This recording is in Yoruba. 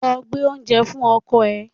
Lọ gbé oúnjẹ fún ọkọ rẹ!